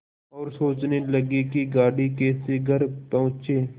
और सोचने लगे कि गाड़ी कैसे घर पहुँचे